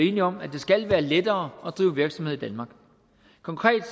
enige om at det skal være lettere at drive virksomhed i danmark konkret